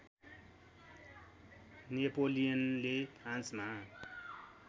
नेपोलियनले फ्रान्समा